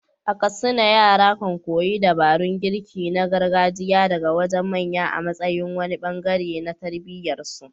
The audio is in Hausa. A Katsina, yara kan koyi dabarun girki na gargajiya daga wajen manya a matsayin wani bangare na tarbiyyar su.